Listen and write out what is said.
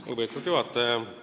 Lugupeetud juhataja!